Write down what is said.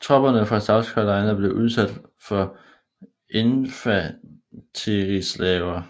Tropperne fra South Carolina blev udsat for infanterisalver